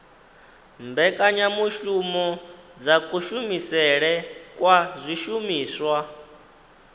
mbekanyamushumo dza kushumisele kwa zwishumiswa